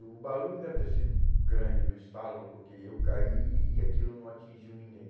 E o barulho deve ter sido grande do estalo, porque eu caí e aquilo não atingiu ninguém.